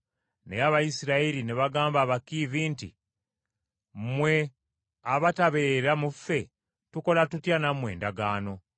Naye Abayisirayiri ne bagamba Abakiivi nti, “Mmwe abatabeera mu ffe tukola tutya nammwe endagaano?”